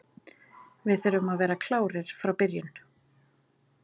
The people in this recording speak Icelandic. Við þurfum að vera klárir frá byrjun.